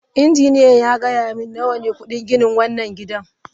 Injiniyan ya gaya mani nawa ne kudin gina wannan gida.